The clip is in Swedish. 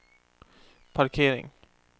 parkering